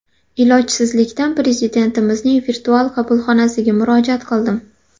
Ilojsizlikdan Prezidentimizning virtual qabulxonasiga murojaat qildim.